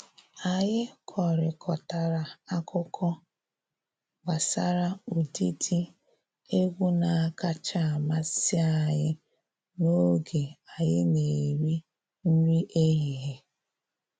Anyị kọrịkọtara akụkọ gbasara ụdịdị egwu na-akacha amasị anyị n’oge anyï na-eri nri ehihie.